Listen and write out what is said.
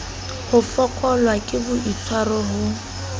ho fokollwa ke boitswaro ho